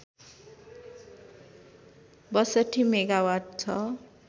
६२ megawatt छ